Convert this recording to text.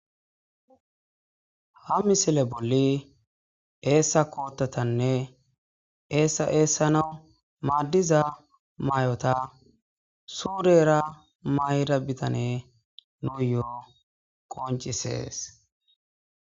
Ha misile bolli eessa kootatanne esaeessanawu maaddiza maay'ota suudera mayda bitane nu yo'o qoncisees